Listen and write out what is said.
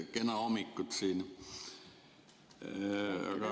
Kena hommikut!